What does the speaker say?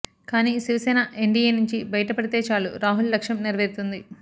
కానీ శివసేన ఎన్డీఏ నుంచి బయట పడితే చాలు రాహుల్ లక్ష్యం నెరవేరుతుంది